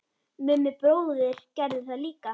Mummi bróðir gerði það líka.